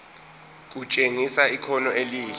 kutshengisa ikhono elihle